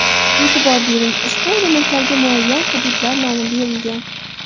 E’tibor bering – ushbu elementlarga muayyan hududlar nomi berilgan.